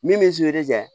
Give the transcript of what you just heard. Min bɛ